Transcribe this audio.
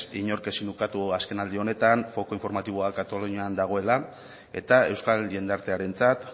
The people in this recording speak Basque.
inork ezin ukatu azken aldi honetan foku informatiboa katalunian dagoela eta euskal jendartearentzat